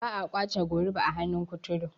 ba a kwace goruba a hannun kuturu